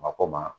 Mako ma